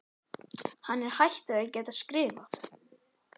Hann er hættur að geta skrifað